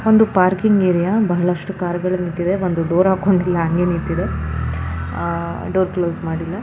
ಒಂದು parking area ಬಹಳಷ್ಟು car ಗಳು ನಿಂತಿದೆ ಒಂದು ಡೋರ್ ಹಾಕೊಂಡಿಲ್ಲ ಹಂಗೆ ನಿಂತಿದೆ ಡೋರ್ ಕ್ಲೋಸ್ ಮಾಡಿಲ್ಲ-